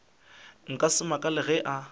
nka se makale ge e